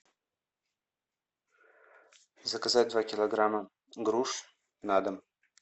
заказать два килограмма груш на дом